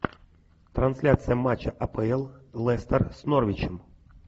трансляция матча апл лестер с норвичем